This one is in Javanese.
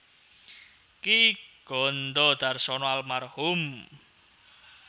Ki Gandha Darsono Alm